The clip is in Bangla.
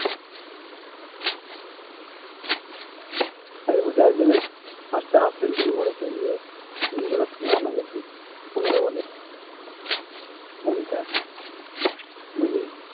আরেক বারের IPL এ পাঁচটা half century করেছে ইয়ে নিকোলাস পুরান আগের দিন পনোরো ball এ পঞ্চাশ